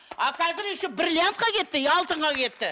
а қазір еще бриллиантқа кетті и алтынға кетті